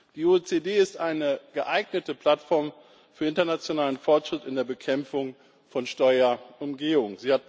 Die OECD ist eine geeignete Plattform für internationalen Fortschritt in der Bekämpfung von Steuerumgehung.